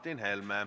Palun!